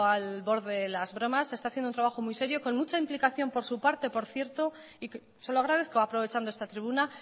al borde las bromas con mucha implicación por su parte por cierto se lo agradezco aprovechando está tribuna